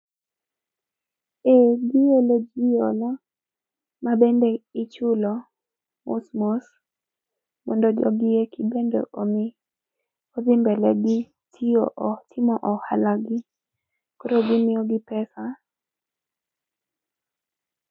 Eeh, giolo jii hola mabende ichiulo mos mos mondo jogi eki bende omi odhi mbele gi tiyo, timo ohalagi koro gimiyo gi pesa